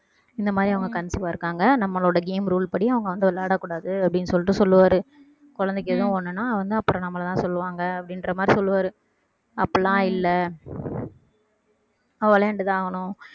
இந்தமாதிரி அவங்க conceive ஆ இருக்காங்க நம்மளோட game rule படி அவங்க வந்து விளையாடக் கூடாது அப்படின்னு சொல்லிட்டு சொல்லுவாரு குழந்தைக்கு எதுவும் ஒண்ணுன்னா வந்து அப்புறம் நம்மளைதான் சொல்லுவாங்க அப்படின்ற மாதிரி சொல்லுவாரு அப்படி எல்லாம் இல்லை அவ விளையாண்டுதான் ஆகணும்